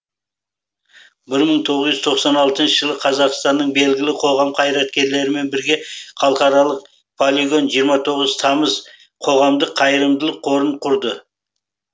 бір мың тоғыз жүз тоқсан алтыншы жылы қазақстанның белгілі қоғам қайраткерлерімен бірге халықаралық полигон жиырма тоғыз тамыз қоғамдық қайырымдылық қорын құрды